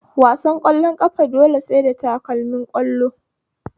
Wasan ƙwallon ƙafa dole sai da takalmin ƙwallo